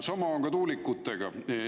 Sama on tuulikutega.